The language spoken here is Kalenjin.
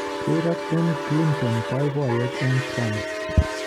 Rireek en clinton, boibiyet en Trump.